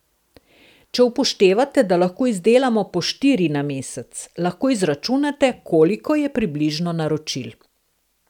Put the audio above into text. Če upoštevate, da lahko izdelamo po štiri na mesec, lahko izračunate, koliko je približno naročil.